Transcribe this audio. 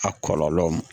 A kɔlɔlɔ